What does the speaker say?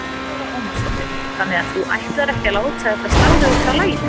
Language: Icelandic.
Lára Ómarsdóttir: Þannig að þú ætlar ekkert að láta þetta slá þig út af laginu?